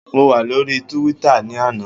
Mo wà lóríi túwítà ní àná